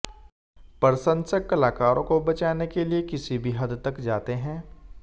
प्रशंसक कलाकारों को बचाने के लिए किसी भी हद तक जाते हैं